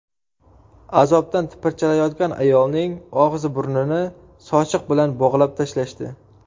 Azobdan tipirchilayotgan ayolning og‘zi-burnini sochiq bilan bog‘lab tashlashdi.